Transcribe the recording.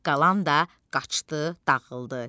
qalan da qaçdı, dağıldı.